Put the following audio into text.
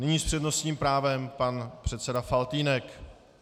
Nyní s přednostním právem pan předseda Faltýnek.